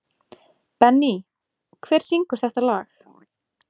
Benný, hver syngur þetta lag?